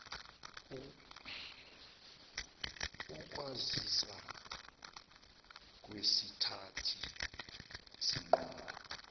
ukwazisa kwezithathi zinqumo